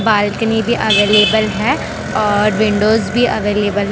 Balcony भी available है और विंडोस भी अवेलेबल है।